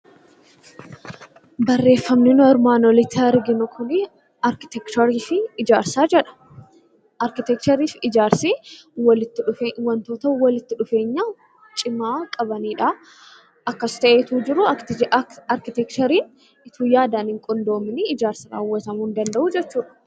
Barreeffamni nuti armaan olitti arginu kun arkiteekcharii fi ijaarsa jedha. Arkiteekcharii fi ijaarsi wantoota walitti dhufeenya cimaa qabanidha. Akkas ta'ee osoo jiruu arkiteekchariin osoo yaadaan hin qindoomiin ijaarsi raawwatamuu hin danda'u jechuudha.